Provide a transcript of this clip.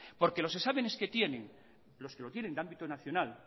porque los exámenes que tienen los que lo tienen de ámbito nacional